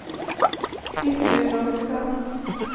Christer Krogstad